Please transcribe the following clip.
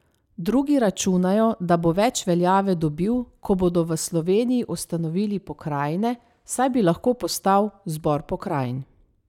Drugi računajo, da bo več veljave dobil, ko bodo v Sloveniji ustanovili pokrajine, saj bi lahko postal zbor pokrajin.